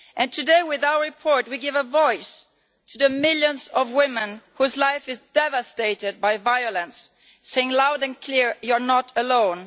Today with our report we give a voice to the millions of women whose lives are devastated by violence, saying loud and clear You are not alone.